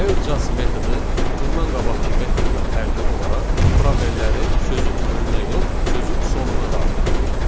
L Just metodu bundan qabaqkı metoddan fərqli olaraq proberləri sözün önünə yox, sözün sonuna daxil edir.